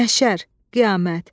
Məhşər, qiyamət.